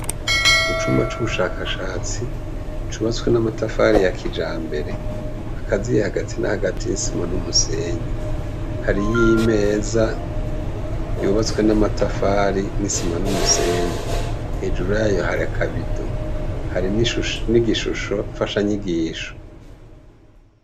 Mu cumba c'ubushakashatsi cubatswe n'amatafari ya kija mbere akaziye hagati nahagati n'isima n'umusenyi hari iyo imeza yubatswe n'amatafari n'isima n'umusenyi hejuru yayo hari akabido hari n'igishusho mfashanyigisho.